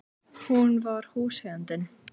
Hún var húseigandinn!